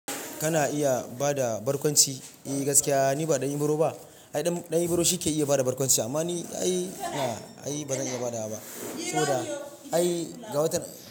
Kana iya bada barkwanci? Eh gaskiya ni ba ɗan Ibro ba. Ai ɗan Ibro shi ke iya bada barkwanci amma ni aai ba ai bazan iya badawa ba. To dai ai gawata.